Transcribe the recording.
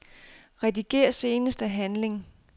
Rediger seneste handling.